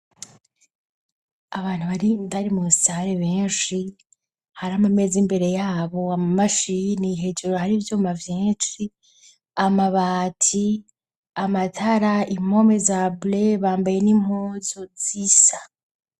Abantu bari ndarimusare benshi hari amo amezi imbere yabo amu mashini hejuro hari vyomavyenshi amabati amatara impome za bley bambaye n'impozo z'isa.